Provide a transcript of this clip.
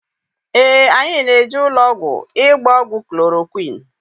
Ee, anyị na-eje ụlọọgwụ ịgba ọgwụ klorokwịn.